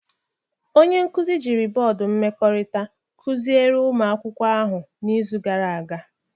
Onye nkuzi jiri bọọdụ mmekọrịta kụziere ụmụ akwụkwọ ahụ n'izu gara aga